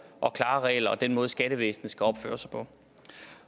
og klare regler og den måde skattevæsenet skal opføre sig på